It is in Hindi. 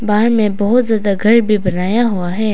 पहाड़ में बहुत ज्यादा घर भी बनाया हुआ है।